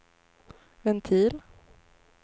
ventil